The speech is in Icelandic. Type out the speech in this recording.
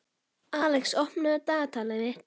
Alex, opnaðu dagatalið mitt.